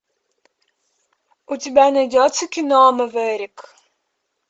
у тебя найдется кино мэверик